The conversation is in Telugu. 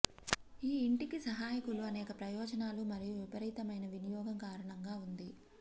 ఈ ఇంటికి సహాయకులు అనేక ప్రయోజనాలు మరియు విపరీతమైన వినియోగం కారణంగా ఉంది